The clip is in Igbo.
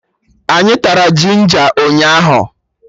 Anyị tara jinja ụnyaahụ